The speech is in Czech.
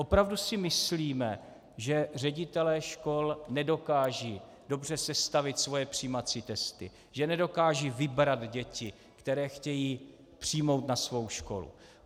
Opravdu si myslíme, že ředitelé škol nedokážou dobře sestavit svoje přijímací testy, že nedokážou vybrat děti, které chtějí přijmout na svou školu?